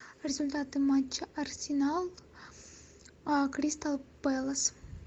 результаты матча арсенал кристал пэлас